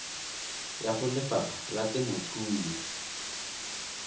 ya go lefapha la temothuo